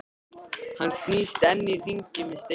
Hann snýst enn í hringi með steininn.